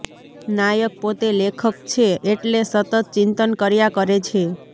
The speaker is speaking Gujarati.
નાયક પોતે લેખક છે એટલે સતત ચિંતન કર્યા કરે છે